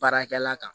Baarakɛla kan